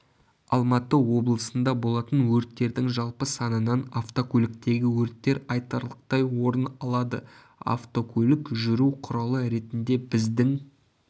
алматы облысында болатын өрттердің жалпы санынан автокөліктегі өрттер айтарлықтай орын алады автокөлік жүру құралы ретінде біздің